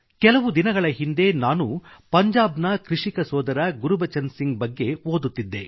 ಕೆಲವು ದಿನಗಳ ಹಿಂದೆ ನಾನು ಪಂಜಾಬ್ನ ಕೃಷಿಕ ಸೋದರ ಗುರ್ಬಚನ್ ಸಿಂಗ್ ಬಗ್ಗೆ ಓದುತ್ತಿದ್ದೆ